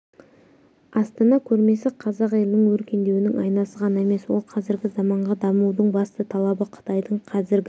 астана көрмесі қазақ елінің өркендеуінің айнасы ғана емес ол қазіргі заманғы дамудың басты талабы қытайдың қазіргі